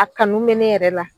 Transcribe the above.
A kanu me ne yɛrɛ la.